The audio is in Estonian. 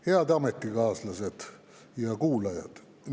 Head ametikaaslased ja kuulajad!